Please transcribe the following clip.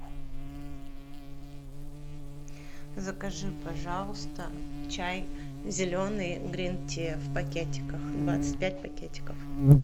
закажи пожалуйста чай зеленый грин тиа в пакетиках двадцать пять пакетиков